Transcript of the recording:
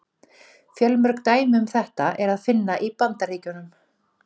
Fjölmörg dæmi um þetta er að finna í Bandaríkjunum.